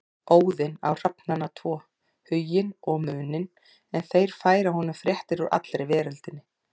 Óðinn á hrafnana tvo Huginn og Muninn en þeir færa honum fréttir úr allri veröldinni.